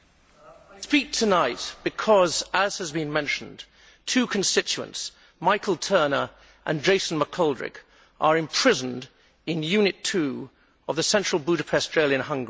I speak tonight because, as has been mentioned, two constituents Michael Turner and Jason McGoldrick are imprisoned in Unit 2 of the Central Budapest jail in Hungary.